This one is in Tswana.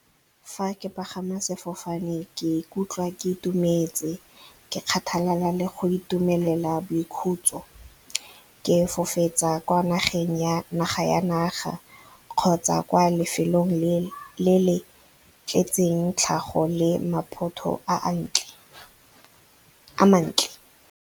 Fa ke pagama sefofane ke ikutlwa ke itumetse, ke kgathalala le go itumelela boikhutso. Ke kwa naga ya naga kgotsa kwa lefelong le le tletseng tlhago le maphato a mantle.